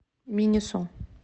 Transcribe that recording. минисо